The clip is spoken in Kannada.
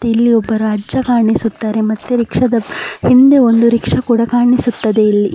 ಇಲ್ಲಿ ಒಬ್ಬ ರಜ್ಜ ಕಾಣಿಸುತ್ತಾರೆ ಮತ್ತೆ ರಿಕ್ಷದ ಹಿಂದೆ ಒಂದು ರಿಕ್ಷ ಕೂಡ ಕಾಣಿಸುತ್ತದೆ ಇಲ್ಲಿ .